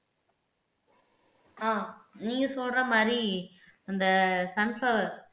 ஆஹ் நீங்க சொல்ற மாதிரி அந்த சன்ப்பிளார்